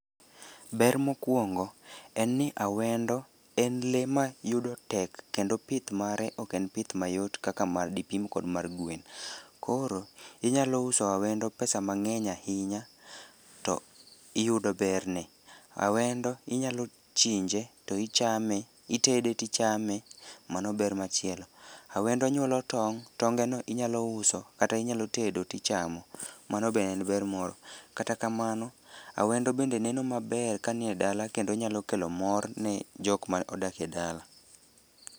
Ber mokwongo en ni awendo en lee mayudo tek kendo pith mare ok en pith mayot kaka ma dipim kod mar gwen. Koro inyalo uso awendo pesa mang'eny ahinya to iyudo berne. Awendo inyalo chinje, to ichame, itede to ichame. Mano ber machielo. awendo nyuolo tong'. Tongeno inyalo uso kata inyalo tedo tichamo. Mano be en ber moro. Kata kamano, awendo bende neno maber kanie dala kendo nyalo kelo mor ne jok ma odak e dala.